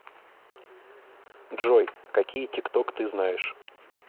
джой какие тикток ты знаешь